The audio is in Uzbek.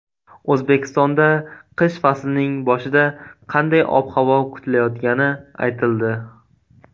O‘zbekistonda qish faslining boshida qanday ob-havo kutilayotgani aytildi.